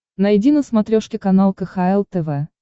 найди на смотрешке канал кхл тв